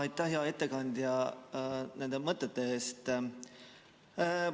Aitäh, hea ettekandja, nende mõtete eest!